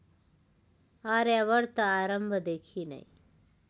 आर्यावर्त आरम्भदेखि नै